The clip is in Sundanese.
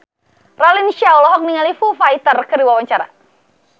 Raline Shah olohok ningali Foo Fighter keur diwawancara